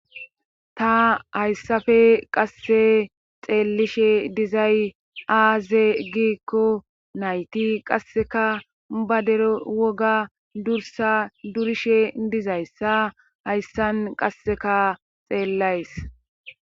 ta hayssafe qasse xeelishe dizay aaze giikko nayti qasseka badere woga dursa durishe dizayssa hayssan qasseka xeellays